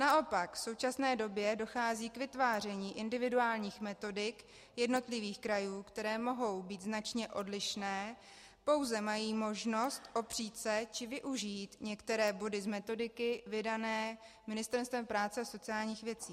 Naopak v současné době dochází k vytváření individuálních metodik jednotlivých krajů, které mohou být značně odlišné, pouze mají možnost opřít se či využít některé body z metodiky vydané Ministerstvem práce a sociálních věcí.